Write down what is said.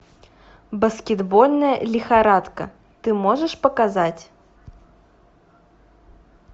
баскетбольная лихорадка ты можешь показать